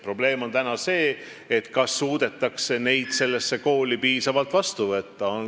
Probleem on selles, et võib-olla ei suudeta piisavalt lapsi nendesse koolidesse vastu võtta.